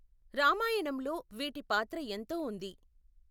రామాయణంలో వీటి పాత్ర ఎంతో ఉంది.